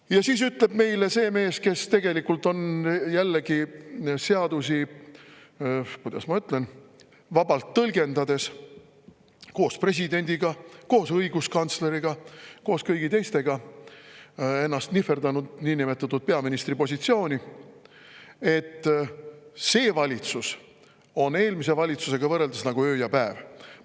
Ja siis ütleb meile see mees, kes tegelikult on jällegi seadusi, kuidas ma ütlen, vabalt tõlgendades – koos presidendiga, koos õiguskantsleriga, koos kõigi teistega – ennast nihverdanud peaministri positsiooni, et see valitsus on eelmise valitsusega võrreldes nagu öö ja päev.